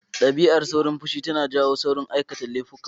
Dabi'ar saurin fushi tanq iya jawo aikata laifuka.